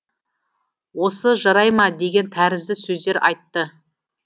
осы жарай ма деген тәрізді сөздер айтты